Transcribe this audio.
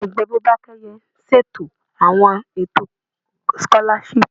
Ẹgbẹ Bọ́bakẹ́yẹ ṣètò àwọn ètò sikolashipu.